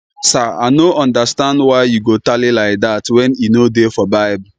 sir i no understand why you go tally like dat wen e no dey for bible